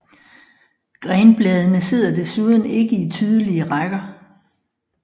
Grenbladene sidder desuden ikke i tydelige rækker